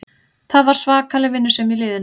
Það var svakaleg vinnusemi í liðinu